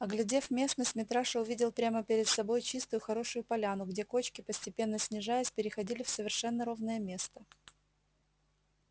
оглядев местность митраша увидел прямо перед собой чистую хорошую поляну где кочки постепенно снижаясь переходили в совершенно ровное место